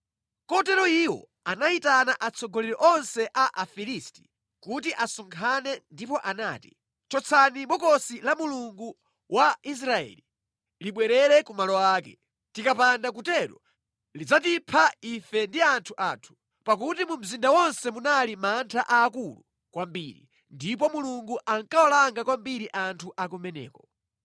Kotero iwo anayitana atsogoleri onse a Afilisti kuti asonkhane ndipo anati, “Chotsani Bokosi la Mulungu wa Israeli, libwerere ku malo ake. Tikapanda kutero lidzatipha ife ndi anthu athu.” Pakuti mu mzinda monse munali mantha aakulu kwambiri ndipo Mulungu ankawalanga kwambiri anthu a kumeneko.